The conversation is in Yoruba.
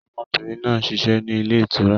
Ọmọbìnrin náà ń ṣiṣẹ́ ni ilé ìtura.